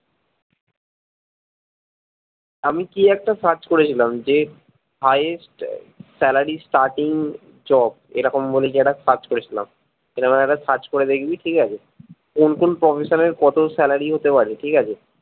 আমি কি একটা search করেছিলাম যে highest salary starting job এরকম বলে কি একটা search করেছিলাম এরকম একবার search করে দেখবি ঠিকাছে কোন কোন profession এর কতো salary হতে পারে ঠিকাছে